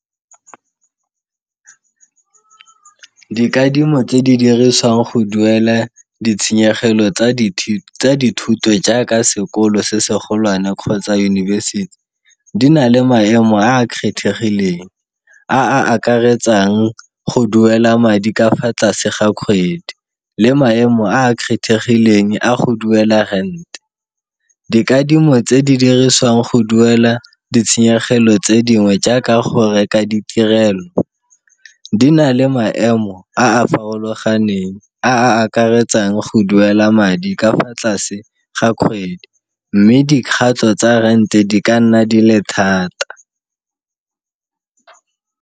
Dikadimo tse di diriswang go duele ditshenyegelo tsa dithuto jaaka sekolo se se golwane kgotsa yunibesithi, di na le maemo a a kgethegileng a a akaretsang go duela madi ka fa tlase ga kgwedi le maemo a a kgethegileng a go duela rent. Dikadimo tse di diriswang go duela ditshenyegelo tse dingwe jaaka go reka ditirelo di na le maemo a a farologaneng a a akaretsang go duela madi ka fa tlase ga kgwedi, mme dikgato tsa rent-e di ka nna di le thata.